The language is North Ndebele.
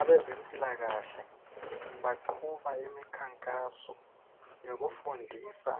abezempilakahle baqhuba imikhankaso yokufundisa